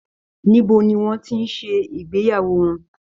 Níbo ni wọ́n ti ń ṣe ìgbéyàwó wọn?